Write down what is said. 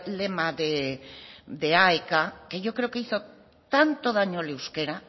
lema de aek que yo creo que hizo tanto daño al euskera